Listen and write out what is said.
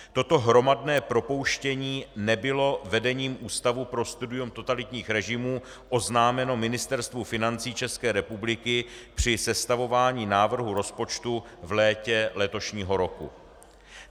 Toto hromadné propouštění nebylo vedením Ústavu pro studium totalitních režimů oznámeno Ministerstvu financí České republiky při sestavování návrhu rozpočtu v létě letošního roku.